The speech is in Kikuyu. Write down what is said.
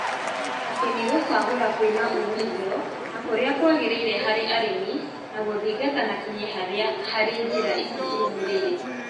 atĩ nĩ gũcagũra kwĩna umithio na kũrĩa kwagĩrĩire harĩ arĩmi na gũthingata na kinyi harĩ njĩra ici irũmĩrĩire